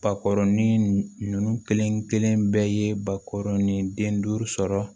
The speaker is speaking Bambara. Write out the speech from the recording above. Bakɔrɔnin ninnu kelen-kelen bɛɛ ye bakɔrɔnin den duuru sɔrɔ